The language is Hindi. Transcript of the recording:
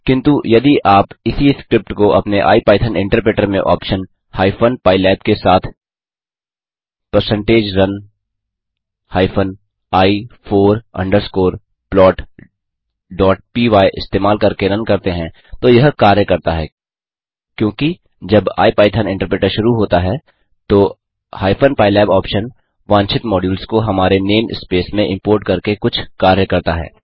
किन्तु यदि आप इसी स्क्रिप्ट को अपने आईपाइथन इन्टरप्रेटर में ऑप्शन हाइपेन पाइलैब के साथ160run i फोर अंडरस्कोर plotपाय इस्तेमाल करके रन करते हैं तो यह कार्य करता हैं क्योंकि जब आईपाइथन इन्टरप्रेटर शुरू होता है तो हाइपेन पाइलैब ऑप्शन वांछित मॉड्यूल्स को हमारे नेम स्पेस में इम्पोर्ट करके कुछ कार्य करता है